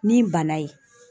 Ni bana ye.